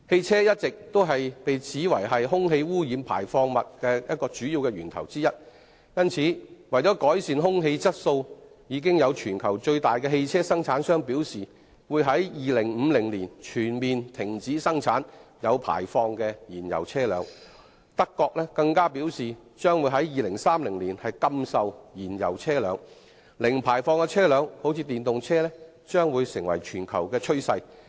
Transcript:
車輛一直被指是空氣污染物排放的主要源頭之一，因此，為改善空氣質素，全球最大型的汽車生產商已表示會在2050年，全面停止生產有排放的燃油車輛，德國更表示將會在2030年禁售燃油車輛，故此零排放車輛如電動車將會成為全球趨勢。